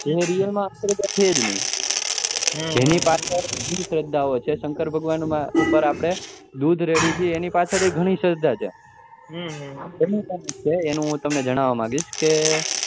એ real છે જ નહી તેની પાછળ અંશ્ધા છે સંકર ભગવાન ઉપર આપડે દૂધ રેડીએ છીએ એ ની પાછળ પણ ઘણી શ્રધા છે એનું હું તમને જાણવા માગીસ કે